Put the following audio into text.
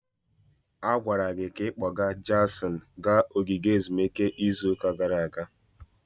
A gwara gị ka ị kpọga Jason gaa ogige ezumike izu ụka gara aga.